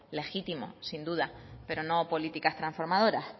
legítimo sin duda pero no políticas transformadoras